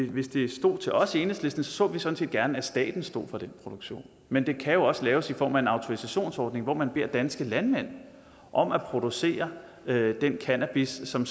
hvis det stod til os i enhedslisten så vi så vi gerne at staten stod for den produktion men det kan jo også laves i form af en autorisationsordning hvor man beder danske landmænd om at producere den cannabis som